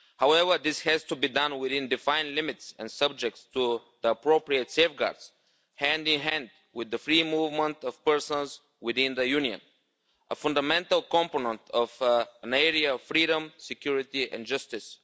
However, this has to be done within defined limits and subject to the appropriate safeguards, hand-in-hand with the free movement of persons within the Union a fundamental component of an area of freedom, security and justice.